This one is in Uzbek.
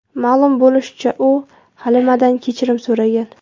Ma’lum bo‘lishicha, u Halimadan kechirim so‘ragan.